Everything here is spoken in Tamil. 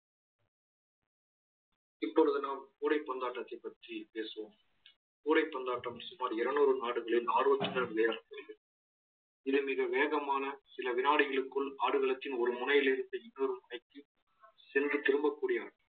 இப்பொழுது நாம் கூடைப்பந்தாட்டத்தை பற்றி பேசுவோம் கூடைப்பந்தாட்டம் சுமார் இருநூறு நாடுகளில் ஆர்வத்துடன் விளையாடப்படுகிறது இது மிக வேகமான சில வினாடிகளுக்குள் ஆடுகளத்தின் ஒரு முனையில் இருந்து இன்னொரு முனைக்கு சென்று திரும்பக்கூடிய